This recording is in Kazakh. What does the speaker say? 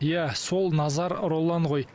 иә сол назар роллан ғой